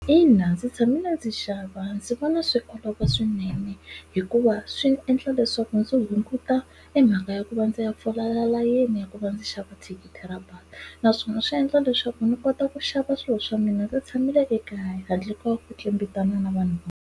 Ina ndzi tshame na ndzi xava ndzi vona swi olova swinene hikuva swi endla leswaku ndzi hunguta e mhaka ya ku va ndzi ya fola layeni ya ku va ndzi xava thikithi ra bazi naswona swi endla leswaku ni kota ku xava swilo swa mina ndzi tshamile ekaya handle ka ku na vanhu.